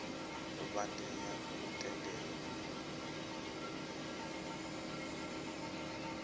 vha tea u tendelwa u